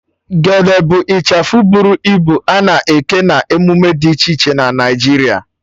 Gele bụ ịchafụ bụrụ ibu a na-eke na emume dị iche iche na Naịjiria